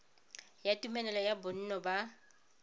ya tumelelo ya bonno ba